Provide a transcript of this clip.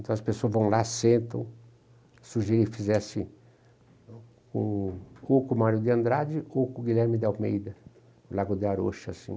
Então as pessoas vão lá, sentam, sugeri que fizesse com Marco Mário de Andrade Guilherme de Almeida, Lago de Aurocho, assim.